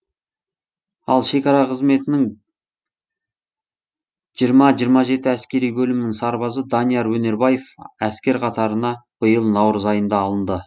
ал шекара қызметінің жиырма жиырма жеті әскери бөлімінің сарбазы данияр өнербаев әскер қатырана биыл наурыз айында алынды